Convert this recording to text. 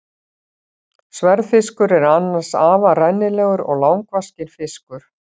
Sverðfiskur er annars afar rennilegur og langvaxinn fiskur.